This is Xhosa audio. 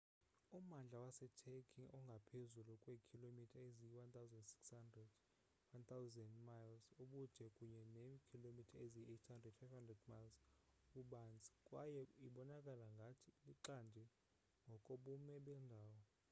ummandla waseturkey ungaphezu kweekhilomitha eziyi-1600 1,000 mi ubude kunye neekhilomitha eziyi-800 500 mi ububanzi kwaye ibonakala ngathi lixande ngokobume bawo